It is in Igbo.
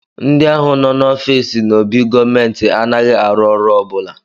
Ndị ahụ no n'ofiisi n'obi gọọmenti anaghị arụ ọrụ ọ bụla